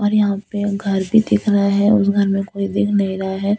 और यहां पे घर भी दिख रहा है उस घर में कोई दिख नहीं रहा है।